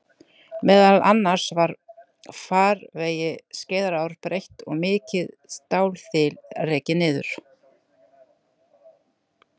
Meðal annars var farvegi Skeiðarár breytt og mikið stálþil rekið niður.